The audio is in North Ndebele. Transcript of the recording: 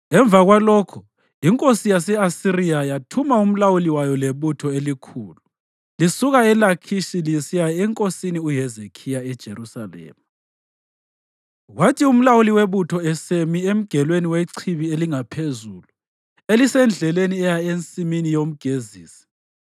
Emva kwalokho inkosi yase-Asiriya yathuma umlawuli wayo lebutho elikhulu lisuka eLakhishi lisiya enkosini uHezekhiya eJerusalema. Kwathi umlawuli webutho esemi emgelweni wechibi elingaphezulu, elisendleleni eya eNsimini yoMgezisi,